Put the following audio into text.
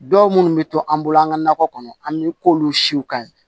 Dɔw munnu bɛ to an bolo an ka nakɔ kɔnɔ an bɛ k'olu siw ka ɲi